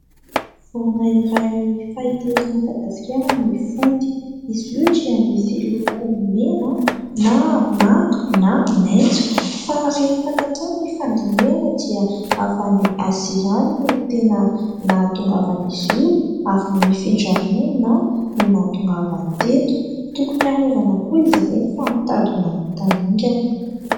Vorona iray fahita eto Madagasikara ny fody. Izy io dia misy loko mena na manga na maitso fa rehefa natao ny fandinihana dia avy any Azia any no tena nahatongavan'izy io ary nifindra monina no nahatongavany teto. Tokony arovana koa izy ireny fa mitady ho lany tamingana.